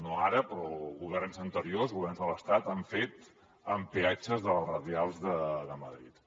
no ara però governs anteriors governs de l’estat han fet amb peatges de les radials de madrid